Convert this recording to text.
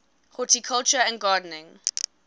horticulture and gardening